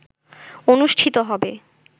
অনুষ্ঠিত হবে